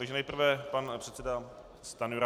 Takže nejprve pan předseda Stanjura.